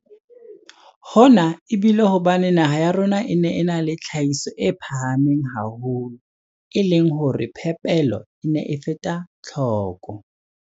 Hona e bile hobane naha ya rona e ne e na le tlhahiso e phahameng haholo, e leng hore phepelo e ne e feta tlhoko.